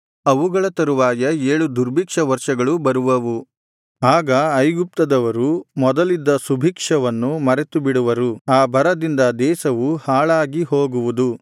ಅವುಗಳ ತರುವಾಯ ಏಳು ದುರ್ಭಿಕ್ಷ ವರ್ಷಗಳೂ ಬರುವವು ಆಗ ಐಗುಪ್ತದವರು ಮೊದಲಿದ್ದ ಸುಭಿಕ್ಷವನ್ನು ಮರೆತುಬಿಡುವರು ಆ ಬರದಿಂದ ದೇಶವು ಹಾಳಾಗಿ ಹೋಗುವುದು